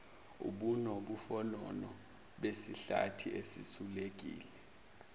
ubunofonofo besihlathi esisulekile